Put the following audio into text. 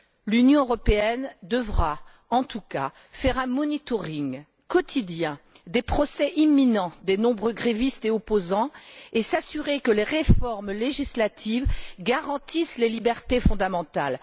L'Union européenne devra, en tout cas, faire un monitoring quotidien des procès imminents des nombreux grévistes et opposants et s'assurer que les réformes législatives garantissent les libertés fondamentales.